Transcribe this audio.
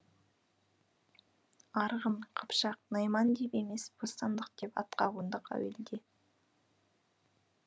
арғын қыпшақ найман деп емес бостандық деп атқа қондық әуелде